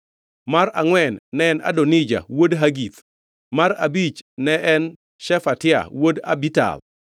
mar angʼwen ne en Adonija wuod Hagith; mar abich ne en Shefatia wuod Abital;